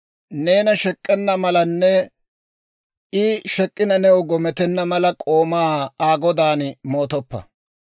Neena shek'k'ena malanne I shek'k'ina new gometenna mala, k'oomaa Aa godaan moottoppa.